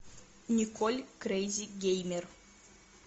николь крейзи геймер